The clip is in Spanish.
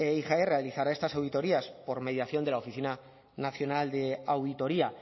igae realizará estas auditorías por mediación de la oficina nacional de auditoría